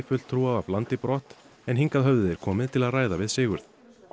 fulltrúa af landi brott en hingað höfðu þeir komið til að ræða við Sigurð